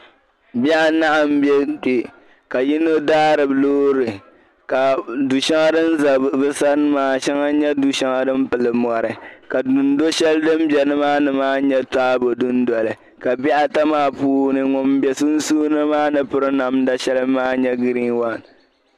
Bihi anahi m bɛ kpɛ ka yino daari loori du'shɛŋa din za bɛ sani shɛŋa nyɛ din pili mɔri dundoli shɛŋa din za nimaani nyɛ taabo dundoli ka bihi ata maa puuni ŋuni bɛ sunsuuni maa piri namda shɛli maa nyɛ green wani .